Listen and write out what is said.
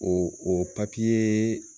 Ɔ o papiyeee.